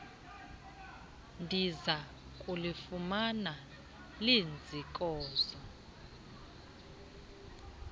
ndiza kulifumana liziinkozo